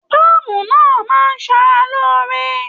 Pàámú náà máa n s'ára lóore.